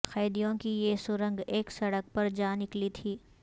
قیدیوں کی یہ سرنگ ایک سڑک پر جا نکلی تھی